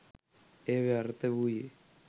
එය ව්‍යර්ථ වුයේ